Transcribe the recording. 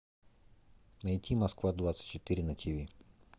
найти москва двадцать четыре на тв